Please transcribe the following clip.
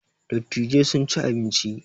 Dattijai sun ci abinci